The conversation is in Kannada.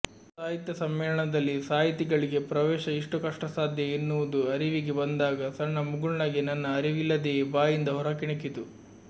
ಸಾಹಿತ್ಯಸಮ್ಮೇಳನದಲ್ಲಿ ಸಾಹಿತಿಗಳಿಗೆ ಪ್ರವೇಶ ಇಷ್ಟು ಕಷ್ಟಸಾಧ್ಯ ಎನ್ನುವುದು ಅರಿವಿಗೆ ಬಂದಾಗ ಸಣ್ಣ ಮುಗುಳ್ನಗೆ ನನ್ನ ಅರಿವಿಲ್ಲದೆಯೇ ಬಾಯಿಂದ ಹೊರಕ್ಕಿಣುಕಿತು